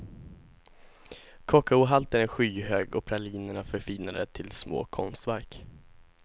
Kakaohalten är skyhög och pralinerna förfinade till små konstverk.